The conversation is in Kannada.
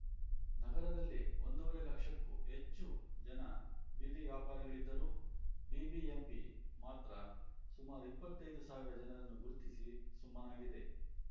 ನಗರದಲ್ಲಿ ಒಂದೂವರೆ ಲಕ್ಷಕ್ಕೂ ಹೆಚ್ಚು ಜನ ಬೀದಿ ವ್ಯಾಪಾರಿಗಳಿದ್ದರೂ ಬಿಬಿಎಂಪಿ ಮಾತ್ರ ಸುಮಾರು ಇಪ್ಪತ್ತೈದು ಸಾವಿರ ಜನರನ್ನು ಗುರುತಿಸಿ ಸುಮ್ಮನಾಗಿದೆ